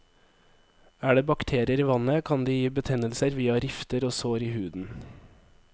Er det bakterier i vannet, kan de gi betennelser via rifter og sår i huden.